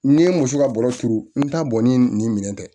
N'i ye muso ka bɔrɔ turu n t'a bɔ ni nin minɛn tɛ